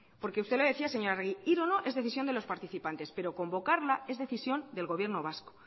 porque usted lo decía señora arregi ir o no es decisión de los participantes pero convocarla es decisión del gobierno vasco